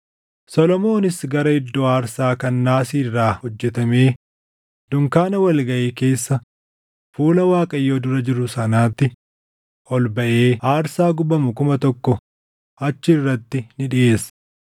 Solomoonis gara iddoo aarsaa kan naasii irraa hojjetamee dunkaana wal gaʼii keessa fuula Waaqayyoo dura jiru sanaatti ol baʼee aarsaa gubamu 1,000 achi irratti ni dhiʼeesse.